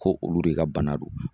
Ko olu de ka bana don.